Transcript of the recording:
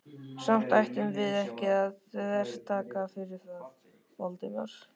Samt ættum við ekki að þvertaka fyrir það, Valdimar.